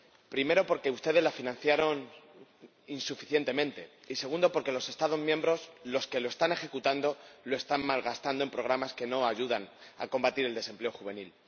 Primero, porque ustedes la financiaron insuficientemente y, segundo, porque los Estados miembros, los que la están ejecutando, la están malgastando en programas que no ayudan a combatir el desempleo juvenil.